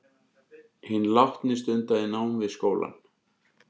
Hinn látni stundaði nám við skólann